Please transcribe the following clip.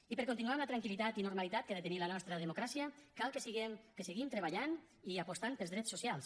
i per continuar amb la tranquil·litat i la normalitat que ha de tenir la nostra democràcia cal que seguim treballant i apostant pels drets socials